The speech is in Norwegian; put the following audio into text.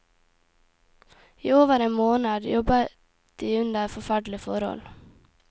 I over en måned jobbet de under forferdelige forhold.